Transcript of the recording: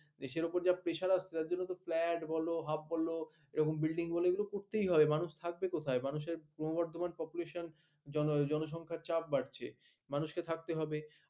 দেশের উপর যা pressure আসছে যার জন্য flat বলো hub বলো এরকম building গুলো এগুলো করতেই হবে মানুষ থাকবে কোথায়? মানুষের ক্রমবর্ধমান population জনসংখ্যার চাপ বাড়ছে। মানুষকে থাকতে হবে।